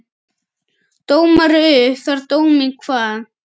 Dómari upp þar dóminn kvað.